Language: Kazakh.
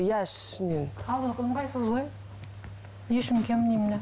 иә ішінен каблук ыңғайсыз ғой не үшін киемін деймін де